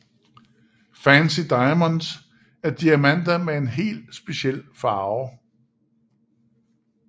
Fancy diamonds er diamanter med en helt speciel farve